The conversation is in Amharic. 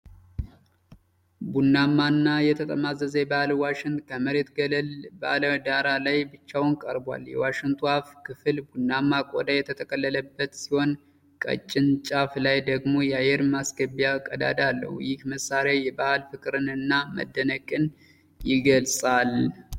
ቡናማና የተጠማዘዘ የባህል ዋሽንት ከመሬት ገለል ባለ ዳራ ላይ ብቻውን ቀርቧል። የዋሽንቱ አፍ ክፍል ቡናማ ቆዳ የተጠቀለለበት ሲሆን፣ ቀጭን ጫፉ ላይ ደግሞ የአየር ማስገቢያ ቀዳዳ አለው። ይህ መሳሪያ የባሕል ፍቅርን እና መደነቅን ይገልጻል።